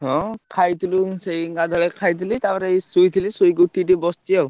ହଁ ଖାଇଥିଲୁ ସେଇ ଗାଧୁଆବେଳେ ଖାଇଥିଲି, ତାପରେ ଏଇ ଶୋଇଥିଲି, ଶୋଇକି ଉଠିକି ଏଇ ବସିଛି, ଆଉ।